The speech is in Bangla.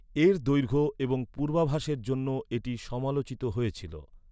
এর দৈর্ঘ্য এবং পূর্বাভাসের জন্য এটি সমালোচিত হয়েছিল।